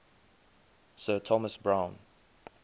sir thomas browne